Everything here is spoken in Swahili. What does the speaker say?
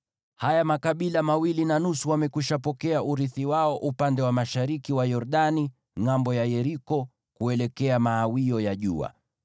Haya makabila mawili na nusu wamekwishapokea urithi wao upande wa mashariki wa Yordani ngʼambo ya Yeriko, kuelekea mawio ya jua.”